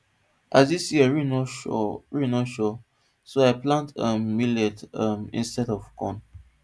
as dis year rain no sure rain no sure so i plant um millet um instead of corn